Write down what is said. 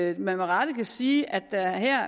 at man med rette kan sige at der